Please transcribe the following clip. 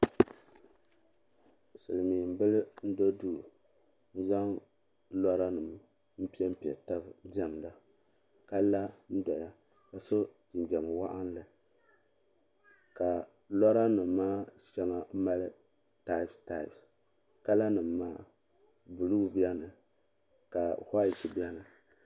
Silimiin bila n do duu ka o zaŋ loranima m piɛmpe taba n diɛmda ka la n doya ka so jinjiɛm waɣinli ka lora nima maa sheŋa nyɛ taapu taapu kala nima maa buluu biɛni ka waati biɛni.